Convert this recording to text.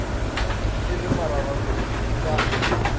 e le mararankodi e ka